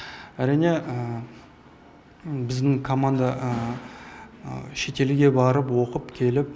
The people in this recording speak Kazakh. әрине біздің команда шетелге барып оқып келіп